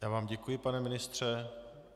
Já vám děkuji, pane ministře.